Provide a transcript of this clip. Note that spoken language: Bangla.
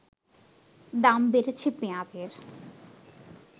দাম বেড়েছে পেঁয়াজের